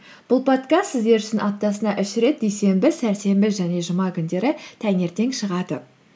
бұл подкаст сіздер үшін аптасына үш рет дүйсенбі сәрсенбі және жұма күндері таңертең шығады